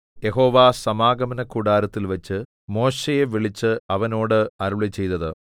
യഹോവ സമാഗമനകൂടാരത്തിൽവച്ചു മോശെയെ വിളിച്ച് അവനോട് അരുളിച്ചെയ്തത്